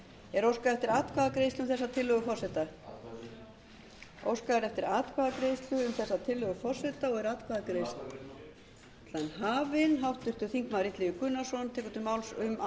er óskað eftir atkvæðagreiðslu um þessa tillögu forseta atkvæðagreiðslu óskað er eftir atkvæðagreiðslu um þessa tillögu forseta